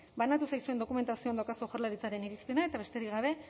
banatu zaizuen dokumentazioan daukazue jaurlaritzaren irizpena eta besterik gabe